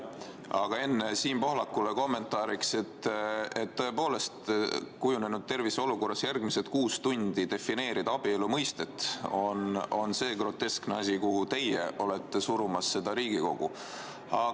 Aga enne Siim Pohlakule kommentaariks: tõepoolest, kujunenud terviseolukorras järgmised kuus tundi defineerida abielu mõistet on see groteskne asi, mille suunas teie olete Riigikogu surumas.